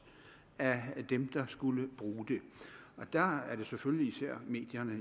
af dem der skulle bruge det der er det jo selvfølgelig især medierne